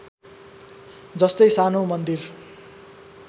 जस्तै सानो मन्दिर